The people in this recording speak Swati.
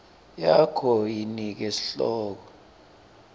yakho yinike sihloko